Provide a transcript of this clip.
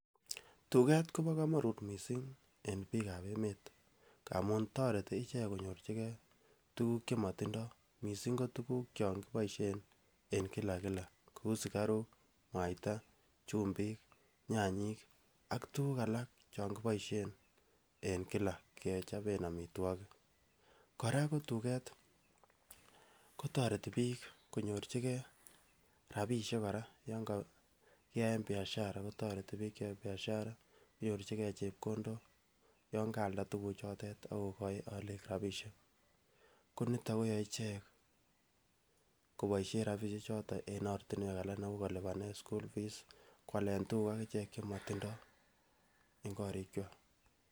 Tuket kobo komonut kot missing en bik ab emet amun toreti ichek konyorchi gee tukul chemotindo missing ko tuku chon kiboishen en kila kila kou sukaruk, muita chumbik, nyanyik ak tukuk alal chon kiboishen en kila kechoben omitwokik. Koraa ko tuket kotoreti bik konyorchi gee rabishek koraa yon ko kiyaen biashara kotoreti bik cheyoe biashara konyorchi gee chepkondok yon kaalda tukul chotet ak kokoin olik rabishek ko niton koyoe ichnek koboishen rabishek choton en ortinwek alak kou kolibane school fees koalen tukuk chemotindoi en korikwa.